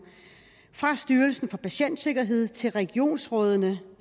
fra styrelsen for patientsikkerhed til regionsrådene